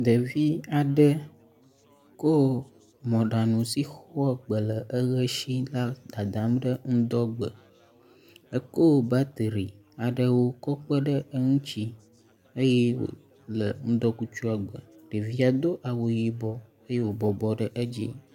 Ɖevi aɖe kɔ mɔɖaŋu si xɔ gbe le eʋe si la dadam ɖe ŋudɔ gbe. Eko batri aɖewo kɔ kpe ɖe eŋuti eye wo le ŋudɔkutsua gbe. Ɖevia do awu yibɔ eye wo bɔbɔ ɖe edzi.